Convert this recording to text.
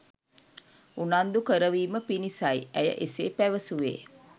උනන්දු කරවීම පිණිසයි ඇය එසේ පැවසුවේ.